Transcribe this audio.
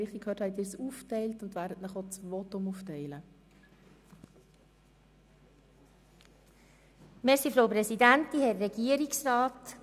Wenn ich Sie richtig verstanden habe, teilen Sie das Fraktionsvotum auf.